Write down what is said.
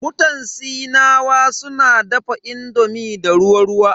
Mutan Sinawa suna dafa indomi da ruwa ruwa.